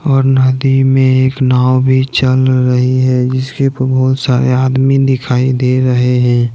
और नदी में एक नाव भी चल रही है जिसके ऊपर बहुत सारे आदमी दिखाई दे रहे हैं।